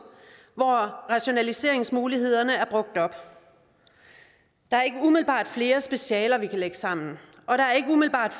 hvor rationaliseringsmulighederne er brugt op der er ikke umiddelbart flere specialer vi kan lægge sammen og der er ikke umiddelbart